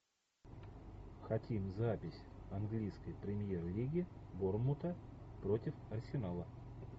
хотим запись английской премьер лиги борнмута против арсенала